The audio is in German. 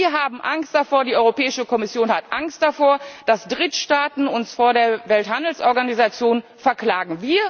Sie haben Angst davor die Europäische Kommission hat Angst davor dass Drittstaaten uns vor der Welthandelsorganisation verklagen.